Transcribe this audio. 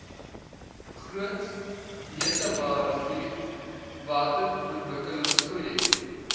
groot letabarivier waterontwikkelingsprojek